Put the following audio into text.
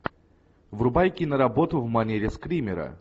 врубай киноработу в манере скримера